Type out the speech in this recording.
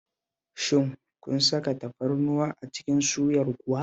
Shin kun saka tafarnuwa a cikin suyar kuwa?